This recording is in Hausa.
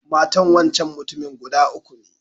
Matan wancan mutumin guda uku ne.